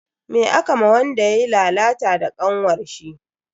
Me aka ma wanda yayi lalata da kanwarshi?